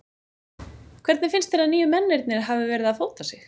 Hvernig finnst þér að nýju mennirnir hafi verið að fóta sig?